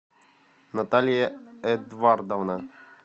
наталья эдвардовна